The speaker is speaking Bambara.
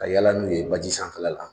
Ka yala n'u ye baji sanfɛla la